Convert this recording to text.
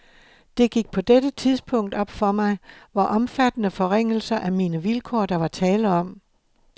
Det gik på dette tidspunkt op for mig, hvor omfattende forringelser af mine vilkår, der var tale om.